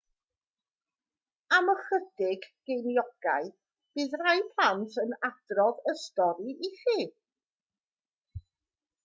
am ychydig geiniogau bydd rhai plant yn adrodd y stori i chi